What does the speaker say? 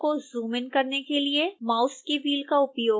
मानचित्र को जूमइन करने के लिए माउस के व्हील का उपयोग करें